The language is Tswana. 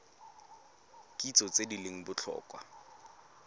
kitso tse di leng botlhokwa